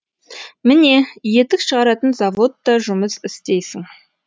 міне етік шығаратын заводта жұмыс істейсің